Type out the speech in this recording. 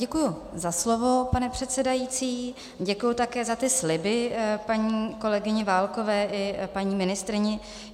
Děkuji za slovo, pane předsedající, děkuji také za ty sliby paní kolegyni Válkové i paní ministryni.